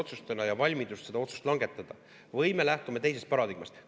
valmidus seda otsust langetada või me lähtume teisest paradigmast?